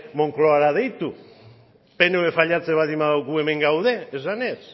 moncloara deitu pnvk fallatzen baldin badu gu hemen gaude esanez